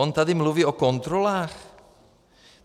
On tady mluví o kontrolách?